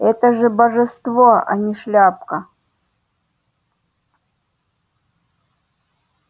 это же божество а не шляпка